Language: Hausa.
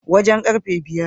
Wajen karfe biyar